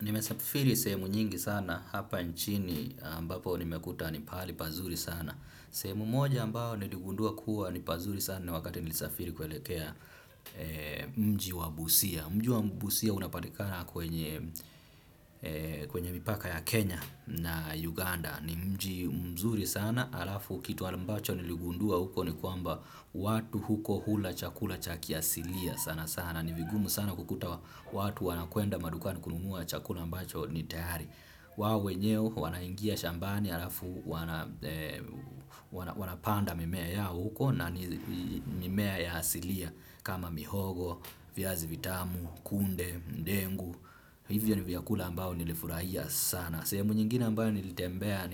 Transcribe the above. Nimesafiri sehemu nyingi sana hapa nchini ambapo nimekuta ni pahali pazuri sana. Sehemu moja ambayo niligundua kuwa ni pazuri sana ni wakati nilisafiri kuelekea mji wa Busia. Mji wa Busia unapatikana kwenye, kwenye mipaka ya Kenya na Uganda. Ni mji mzuri sana halafu kitu ambacho niligundua huko ni kwamba watu huko hula chakula cha kiasilia sana sana. Na ni vigumu sana kukuta watu wanakwenda madukani kununua chakula ambacho ni tayari. Wao wenyewe wanaingia shambani halafu wanapanda mimea yao huko na ni mimea ya asilia kama mihogo, vyazi vitamu, kunde, ndengu. Hivyo ni vyakula ambao nilifurahia sana. Sehemu nyingine ambayo nilitembea